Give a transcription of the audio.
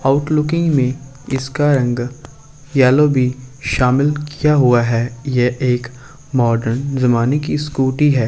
Outlooking में इसका रंग येलो भी शामिल किया हुआ है। ये एक मॉडर्न जमाने की स्कूटी है ।